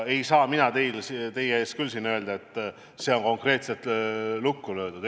Ei saa mina siin teie ees öelda, et see on konkreetselt lukku löödud.